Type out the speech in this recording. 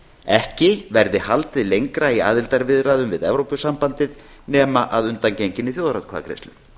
ekki verði haldið lengra í aðildarviðræðum við evrópusambandið nema að undangenginni þjóðaratkvæðagreiðslu